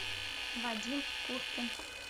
вадим куркин